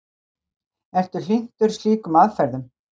Ertu hlynntur slíkum aðferðum?